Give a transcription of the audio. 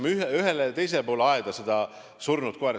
Me viskame ühele ja teisele poole aeda seda surnud koera.